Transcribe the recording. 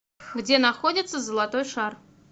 где находится золотой шар